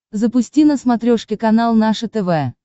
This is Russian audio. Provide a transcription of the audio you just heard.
запусти на смотрешке канал наше тв